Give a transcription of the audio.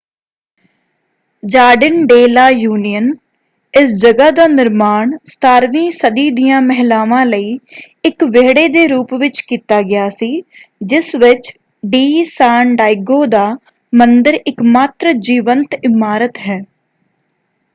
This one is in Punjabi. Jardin de la Union. ਇਸ ਜਗ੍ਹਾ ਦਾ ਨਿਰਮਾਣ 17ਵੀਂ ਸਦੀ ਦੀਆਂ ਮਹਿਲਾਵਾਂ ਲਈ ਇੱਕ ਵਿਹੜੇ ਦੇ ਰੂਪ ਵਿੱਚ ਕੀਤਾ ਗਿਆ ਸੀ ਜਿਸ ਵਿੱਚ ਡੀ ਸਾਨ ਡਾਇਗੋ ਦਾ ਮੰਦਿਰ ਇੱਕਮਾਤਰ ਜੀਵੰਤ ਇਮਾਰਤ ਹੈ।